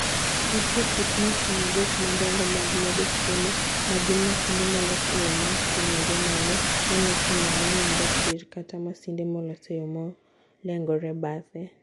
Nitie kit masin adek madongo mag medo chiemo, ma gin masinde molos e yo mating'ore malo, molos e yo manindo tir, kata masinde molos e yo molengore bathe: